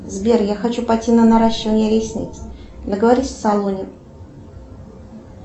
сбер я хочу пойти на наращивание ресниц договорись в салоне